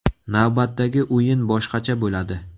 Navbatdagi o‘yin boshqacha bo‘ladi.